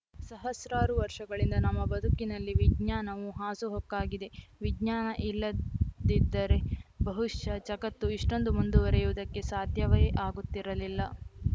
ಸಹಸ್ರಾರು ವರ್ಷಗಳಿಂದ ನಮ್ಮ ಬದುಕಿನಲ್ಲಿ ವಿಜ್ಞಾನವು ಹಾಸುಹೊಕ್ಕಾಗಿದೆ ವಿಜ್ಞಾನ ಇಲ್ಲದಿದ್ದರೆ ಬಹುಶಃ ಜಗತ್ತು ಇಷ್ಟೊಂದು ಮುಂದುವರಿಯುವುದಕ್ಕೆ ಸಾಧ್ಯವೇ ಆಗುತ್ತಿರಲಿಲ್ಲ